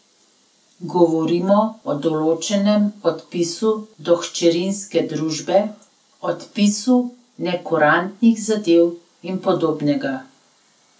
Govorimo o določenem odpisu do hčerinske družbe, odpisu nekurantnih zadev in podobnega.